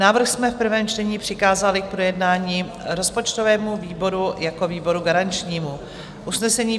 Návrh jsme v prvém čtení přikázali k projednání rozpočtovému výboru jako výboru garančnímu.